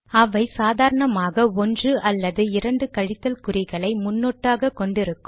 அவை சாதாரணமாக ஒன்று அல்லது இரண்டு கழித்தல் குறிகளை முன்னொட்டாக கொண்டு இருக்கும்